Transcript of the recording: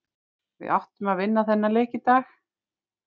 Við áttum að vinna þennan leik í dag.